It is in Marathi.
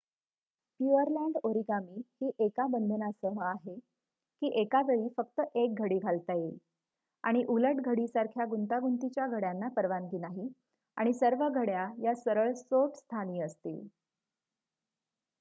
प्युअरलँड ओरिगामी ही एका बंधनासह आहे की एका वेळी फक्त 1 घडी घालता येईल आणि उलट घडीसारख्या गुंतागुंतीच्या घड्याना परवानगी नाही आणि सर्व घड्या या सरळ सोट स्थानी असतील